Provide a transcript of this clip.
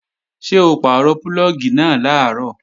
Ṣé o pàrọ̀ púlọ̀gì náà làárọ̀?